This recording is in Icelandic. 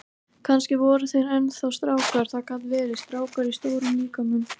Kannski voru þeir enn þá strákar, það gat verið, strákar í stórum líkömum.